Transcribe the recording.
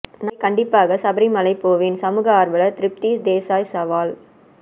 நாளை கண்டிப்பாக சபரிமலை போவேன் சமூக ஆர்வலர் திருப்தி தேசாய் சவால்